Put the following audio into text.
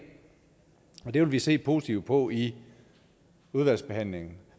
og det vil vi se positivt på i udvalgsbehandlingen